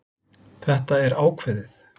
Þetta er ákveðið.